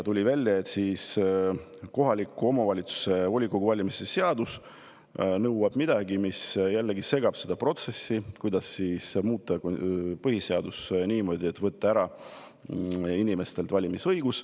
Tuli välja, et kohaliku omavalitsuse volikogu valimise seadus nõuab midagi, mis jällegi segab seda protsessi, millega tahetakse muuta põhiseadust niimoodi, et võtta inimestelt ära valimisõigus.